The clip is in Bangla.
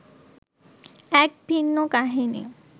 এক ভিন্ন কাহিনি